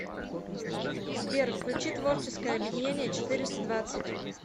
сбер включи творческое объединение четыреста двадцать